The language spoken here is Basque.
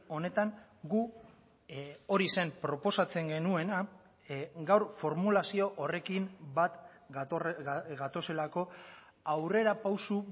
honetan gu hori zen proposatzen genuena gaur formulazio horrekin bat gatozelako aurrerapauso